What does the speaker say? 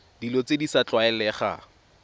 dilo tse di sa tlwaelegang